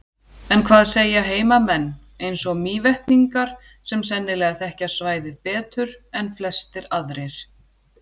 En hvað segja heimamenn, eins og Mývetningar, sem sennilega þekkja svæðið betur en flestir aðrir?